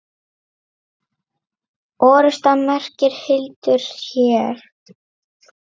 Orrusta merkir hildur hér.